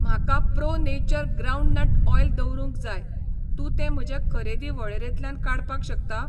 म्हाका pro nature groundnut oil दवरूंक जाय, तूं तें म्हजे खरेदी वळेरेंतल्यान काडपाक शकता?